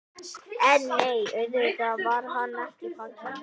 En nei, auðvitað var hann ekki fallinn.